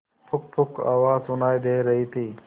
पुकपुक आवाज सुनाई दे रही थी